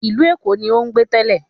Ìlú Èkó ni ó ń gbé tẹ́lẹ̀